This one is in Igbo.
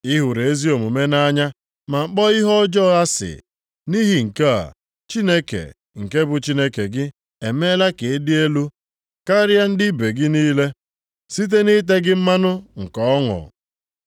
Ị hụrụ ezi omume nʼanya ma kpọọ ihe ọjọọ asị. Nʼihi nke a, Chineke, nke bụ Chineke gị, emeela ka ịdị elu karịa ndị ibe gị niile site na ite gị mmanụ nke ọṅụ.” + 1:9 \+xt Abụ 45:6,7\+xt*